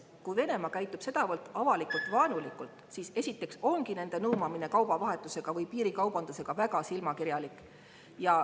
Kui Venemaa käitub sedavõrd avalikult vaenulikult, siis esiteks ongi nende nuumamine kaubavahetusega või piirikaubandusega väga silmakirjalik.